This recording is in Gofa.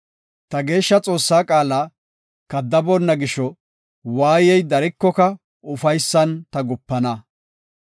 Ta Geeshsha Xoossaa qaala kaddaboonna gisho, waayey darikoka ufaysan ta gupana.